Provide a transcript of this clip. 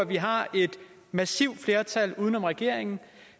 vi har et massivt flertal uden om regeringen